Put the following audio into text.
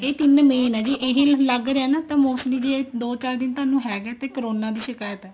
ਇਹ main ਆ ਜੇ ਇਹੀ ਲੱਗ ਰਿਹਾ ਨਾ ਤਾਂ mostly ਵੀ ਇਹ ਦੋ ਚਾਰ ਦਿਨ ਥੋਨੂੰ ਹੈਗਾ ਤੇ corona ਦੀ ਸ਼ਿਕਾਇਤ ਹੈ